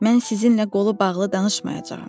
Mən sizinlə qolu bağlı danışmayacağam.